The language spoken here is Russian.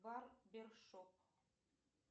барбершоп